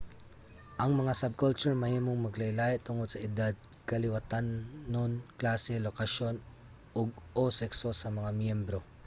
ang mga subculture mahimong maglahi-lahi tungod sa edad kaliwatanon klase lokasyon ug/o sekso sa mga miyembro